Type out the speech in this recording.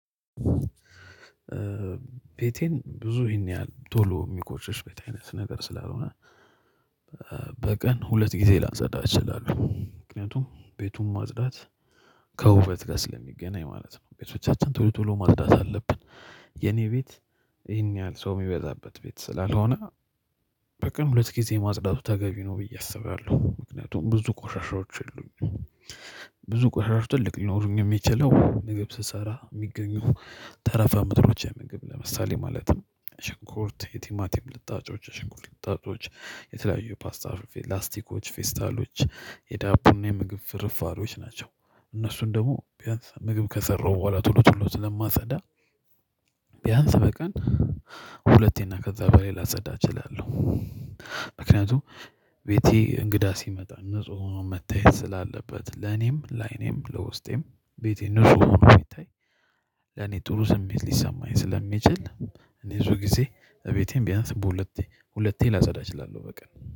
ቤቴን ብዙ ይሄን ያህል ቶሎ የሚቆሽሽ ቤት አይነት ነገር ስላልሆነ በቀን ሁለት ጊዜ ላአጸዳ እችላለሁ ምክንያቱም ቤቱን ማጽዳት ከውበት ጋር ስለሚገናኝ ማለት ነው። ቤቶቻችን ቶሎ ቶሎ ማጽዳት አለብን። የኔ ቤት ይሄን ያህል ሰው የሚበዛበት ቤት ስላልሆነ በቀን ሁለት ጊዜ ማጽዳቱ ተገቢ ነው ብዬ አስባለሁ ምክንያቱም ብዙ ቆሻሻዎች የሉም። ብዙ ቆሻሻ ትልቅ ሊኖሩኝ የሚችለው ምግብ ስሰራ የሚገኙ ተረፈ ምርቶች የምግብ ለምሳሌ ማለት ነው። ሽንኩርት የቲማቲም ልጣጮች ሽንኩርት ልጣጮች የተለያዩ የፓስታ ላስቲኮች ፌስታሎች የዳቦና የምግብ ፍርፋሪዎች ናቸው። እነሱን ደግሞ ቢያንስ ምግብ ከሰራው በኋላ ቶሎ ቶሎ ስለማጸዳ። ቢያንስ በቀን ሁለቴና ከዛ በላይ ላጸዳ እችላለሁ። ምክንያቱም ቤቴ እንግዳ ሲመጣ ንጹህ ሆኖ መታየት ስላለበት ለኔም ላይኔም ለውስጤም ቤቴን ንጹህ ሆኖ ሲታይ። ለኔ ጥሩ ስሜት ሊሰማኝ ስለሚችል። እኔ ብዙ ጊዜ እቤቴን ቢያንስ በሁለቴ ሁለቴ ላጸዳ እችላለሁ በቀን